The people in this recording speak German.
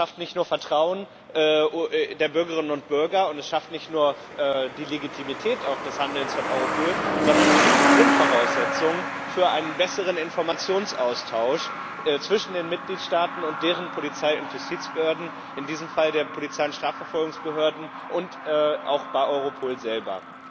Das schafft nicht nur Vertrauen bei den Bürgerinnen und Bürgern, und es bedingt nicht nur die Legitimität des Handelns von Europol, sondern es ist die Grundvoraussetzung für einen besseren Informationsaustausch zwischen den Mitgliedstaaten und deren Polizei und Justizbehörden in diesem Fall den Polizei und Strafverfolgungsbehörden, und auch bei Europol selber.